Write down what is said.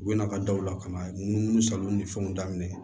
U bɛna ka da u la ka na munumunu salon ni fɛnw daminɛ